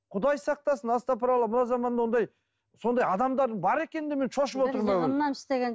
құдай сақтасын астапыралла мына заманда ондай сондай адамдардың бар екеніне мен шошып отырмын